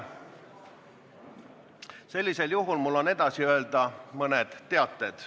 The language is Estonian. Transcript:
Sellisel juhul on mul edasi öelda mõned teated.